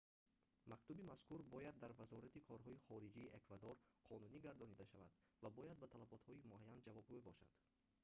мактуби мазкур бояд дар вазорати корҳои хориҷии эквадор қонунӣ гардонида шавад ва бояд ба талаботҳои муайян ҷавобгӯ бошад